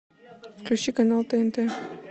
включи канал тнт